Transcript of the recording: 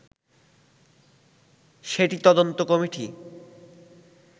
সেটি তদন্ত কমিটি